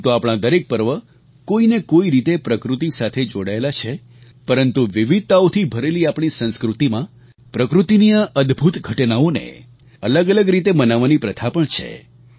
આમ તો આપણા દરેક પર્વ કોઈ ને કોઈ રીતે પ્રકૃતિ સાથે જોડાયેલા છે પરંતુ વિવિધતાઓથી ભરેલી આપણી સંસ્કૃતિમાં પ્રકૃતિની આ અદભુત ઘટનાઓને અલગઅલગ રીતે મનાવવાની પ્રથા પણ છે